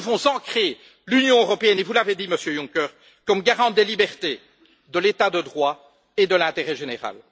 Nous devons ancrer l'Union européenne et vous l'avez dit, Monsieur Juncker comme garante des libertés, de l'état de droit et de l'intérêt général.